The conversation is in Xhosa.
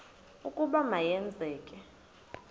ukuba ma yenzeke